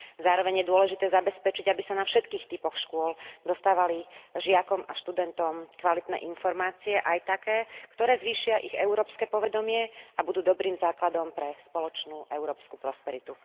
Zároveň je dôležité zabezpečiť, aby sa na všetkých typoch škôl dostávali žiakom a študentom kvalitné informácie, aj také, ktoré zvýšia ich európske povedomie a budú dobrým základom pre spoločnú európsku prosperitu.